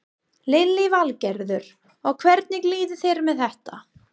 Lillý Valgerður: Og hvernig líður þér með þetta?